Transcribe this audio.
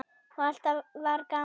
Og alltaf var gaman.